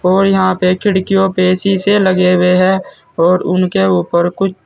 और यहां पे खिड़कियों पे शीसे लगे हुए हैं और उनके ऊपर कुछ--